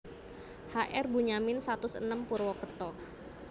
H R Bunyamin satus enem Purwokerto